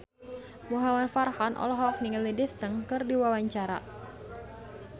Muhamad Farhan olohok ningali Daesung keur diwawancara